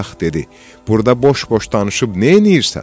Budaq dedi: Burda boş-boş danışıb neyləyirsən?